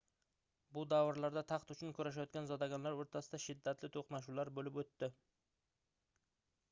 bu davrlarda taxt uchun kurashayotgan zodagonlar oʻrtasida shiddatli toʻqnashuvlar boʻlib oʻtdi